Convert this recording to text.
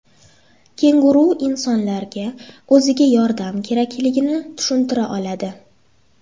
Kenguru insonlarga o‘ziga yordam kerakligini tushuntira oladi.